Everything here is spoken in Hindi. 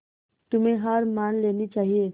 तुम्हें हार मान लेनी चाहियें